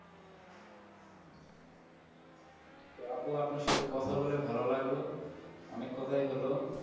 তো আপু আপনার সাথে কথা বলে ভালো লাগলো অনেক কথাই হলো